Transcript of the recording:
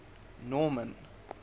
norman